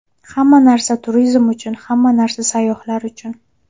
Hamma narsa turizm uchun, hamma narsa sayyohlar uchun!